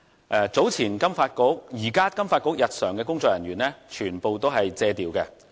現時金發局日常的工作人員全屬借調人員。